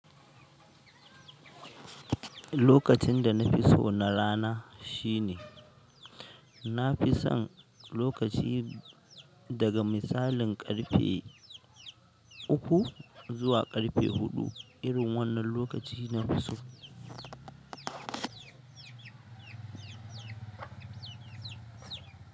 Lokacin da na fi so na rana shine, na fi son lokaci daga misalin ƙarfe uku zuwa ƙarfe huɗu irin wannan lokaci na fi so.